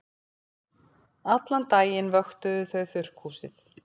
Allan daginn vöktuðu þau þurrkhúsið.